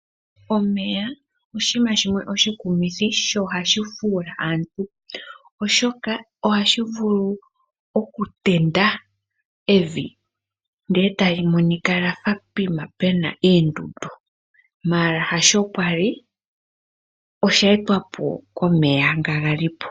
Omeya oshinima shimwe oshikumithi sho ohashi fuula aantu. Oshoka ohashi vulu okutenda evi ndele etali monika poshinima pwafa puna oondundu ndele hasho pwali osheetwapo komeya nga galipo.